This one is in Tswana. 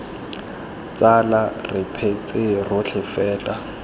tsala re phetse rotlhe fela